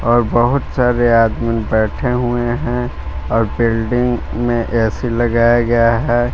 और बहुत सारे आदमी बैठे हुवे है और बिल्डिंग में ए_सी लगाया गया है।